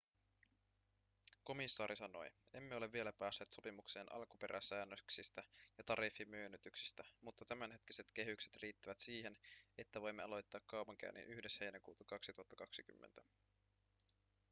komissaari sanoi emme ole vielä päässeet sopimukseen alkuperäsäännöksistä ja tariffimyönnytyksistä mutta tämänhetkiset kehykset riittävät siihen että voimme aloittaa kaupankäynnin 1 heinäkuuta 2020